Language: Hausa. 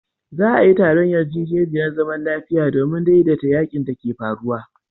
Za'a yi taron yarjejeniyar zaman lafiya domin daidaita yakin da ke faruwa.